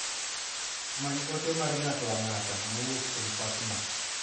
Many ote mar ng'ato ang'ata mowuok kuom Fatma.